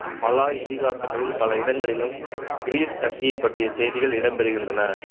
Malay இதிகாசங்களில் பல இடங்களிலும் கிரிஸ் கத்தியை பற்றிய செய்திகள் இடம்பெறுகின்றன